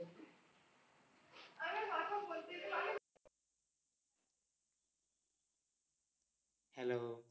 Hello